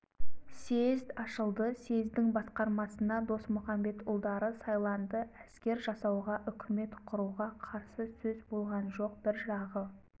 съезд ашылды съездің басқармасына досмұқамбетұлдары сайланды әскер жасауға үкімет құруға қарсы сөз болған жоқ бір жағы